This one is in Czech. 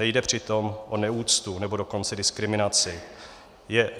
Nejde přitom o neúctu, nebo dokonce diskriminaci.